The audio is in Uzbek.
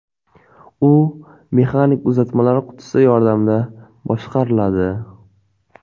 U mexanik uzatmalar qutisi yordamida boshqariladi.